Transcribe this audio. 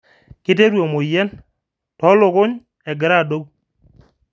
Kitereu emoyian toolukuny enkira adou